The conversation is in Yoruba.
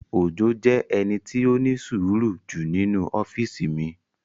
Òjó jẹ́ ẹni tí ó ní sùúrù jù nínu ọ́físì mi